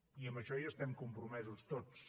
i amb això hi estem compromesos tots